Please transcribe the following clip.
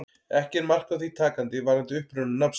Ekki er mark á því takandi varðandi uppruna nafnsins.